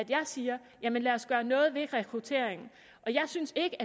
jeg siger lad os gøre noget ved rekrutteringen jeg synes ikke